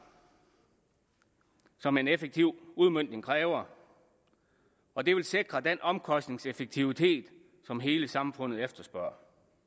som en effektiv udmøntning kræver og det vil sikre den omkostningseffektivitet som hele samfundet efterspørger